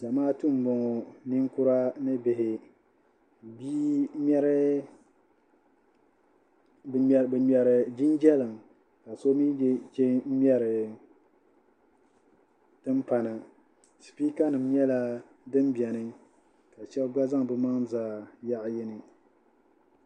Zamaatu m-bɔŋɔ ninkura ni bihi bɛ ŋmɛri jinjɛliŋ ka so mi che ŋ-ŋmɛri timpana sipiikanima nyɛla din beni ka shɛba gba zaŋ bɛ maŋa za yaɣ'yini